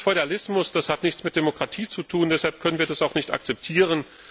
Das ist Feudalismus, das hat nichts mit Demokratie zu tun und deshalb können wir das auch nicht akzeptieren.